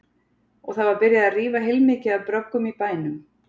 Og það var byrjað að rífa heilmikið af bröggum í bænum.